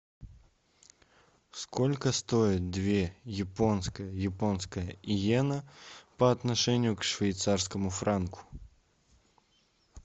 сколько стоит две японская японская иена по отношению к швейцарскому франку